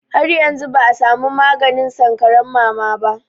Har yanzu ba a samu maganin sankaran mama ba.